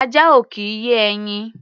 Ajá ò kì í yé ẹyin.